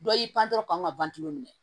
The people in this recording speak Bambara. Dɔ y'i pan dɔrɔn kan ka ban tulu minɛ